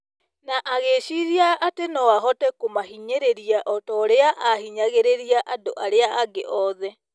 na agĩciiria atĩ no ahote kũmahinyĩrĩria o ta ũrĩa ahingagĩrĩria andũ arĩa angĩ othe.